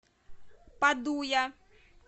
падуя